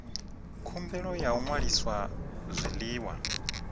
khumbelo ya u ṅwalisa zwiḽiwa